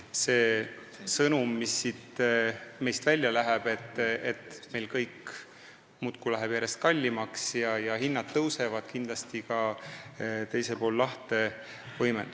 See sõnum, mis meilt välja läheb, et kõik läheb muudkui järjest kallimaks ja hinnad tõusevad, võimendub ka teisel pool lahte.